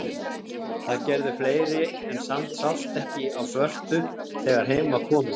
Það gerðu fleiri en samt sást ekki á svörtu þegar heim var komið.